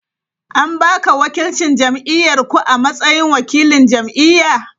An ba ka wakilcin jam’iyyar ku a matsayin wakilin jam’iyya?